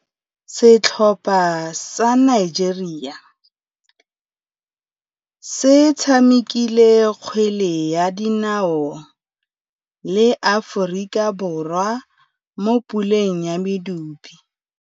Setlhopha sa Nigeria se tshamekile kgwele ya dinaô le Aforika Borwa mo puleng ya medupe.